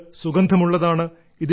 ഇത് സുഗന്ധമുള്ളതാണ്